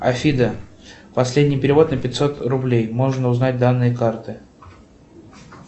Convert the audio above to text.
афида последний перевод на пятьсот рублей можно узнать данные карты